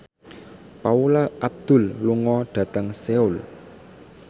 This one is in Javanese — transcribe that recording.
Paula Abdul lunga dhateng Seoul